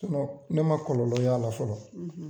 Sinɔn ne ma kɔlɔlɔ y'ala fɔlɔ